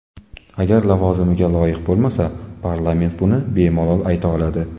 Agar lavozimiga loyiq bo‘lmasa, parlament buni bemalol ayta oladi.